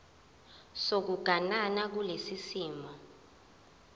sokuganana kulesi simo